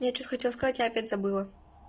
я что хотел сказать я опять забыла